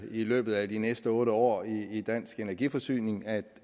løbet af de næste otte år i dansk energiforsyning at